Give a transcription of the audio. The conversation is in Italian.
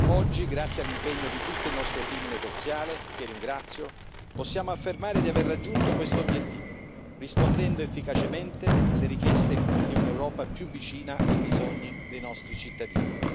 Oggi, grazie all'impegno di tutto il nostro team negoziale, che ringrazio, possiamo affermare di aver raggiunto questo obiettivo, rispondendo efficacemente alle richieste di un'Europa più vicina ai bisogni dei nostri cittadini.